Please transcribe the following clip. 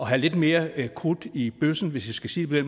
have lidt mere krudt i bøssen hvis jeg skal sige det